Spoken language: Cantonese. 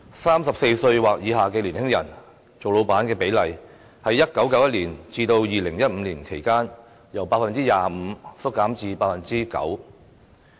三十四歲或以下的年輕人當老闆的比例，在1991年至2015年期間，由 25% 減至 9%。